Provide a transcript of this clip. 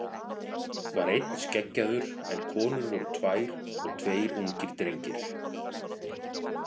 Var einn skeggjaður en konur voru tvær og tveir ungir drengir.